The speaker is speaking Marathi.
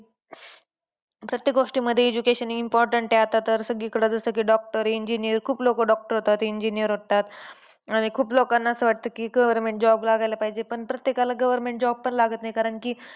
प्रत्येक गोष्टींमध्ये education important आहे आता तर. जसं की doctor, engineer खूप लोक doctor होतात. Engineer होतात. खूप लोकांनां असं वाटतं की government job लागायला पाहिजे. पण प्रत्येकाला government job तर लागत नाही. कारण की,